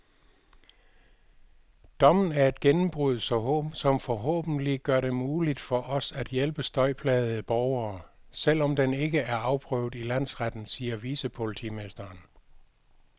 Dommen er et gennembrud, som forhåbentlig gør det muligt for os at hjælpe støjplagede borgere, selv om den ikke er afprøvet i landsretten, siger vicepolitimesteren.